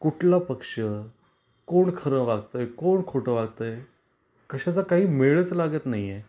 कुठला पक्ष, कोण खर वागतय, कोण खोट वागतय, कशाचा काही मेळच लागत नाही आहे.